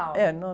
É, no...